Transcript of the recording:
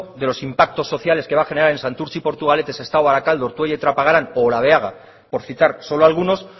de los impactos sociales que va generar en santurtzi portugalete sestao barakaldo ortuella y trapagaran o olabeaga por citar solo algunos